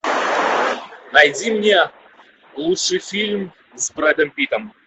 найди мне лучший фильм с брэдом питтом